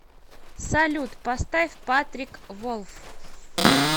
салют поставь патрик волф